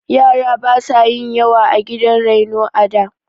Yara basu yin yawa a gidan raino a da.